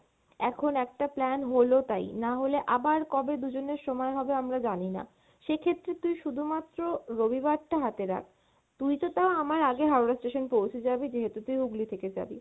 এখন একটা plan হলো তাই, নাহলে আবার কবে দুজনের সময় হবে আমরা জানিনা, সেক্ষেত্রে তুই শুধুমাএ রবিবার টা হাতে রাখ, তুই তো তাও আমার আগে হাওড়া station পৌঁছে যাবি যেহেতু তুই হুগলি থেকে যাবি